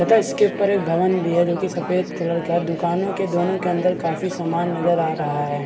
तथा इसके ऊपर एक भवन भी है जोकि सफ़ेद कलर का दुकानों के दोनों के अंदर काफी सामान नजर आ रहा है।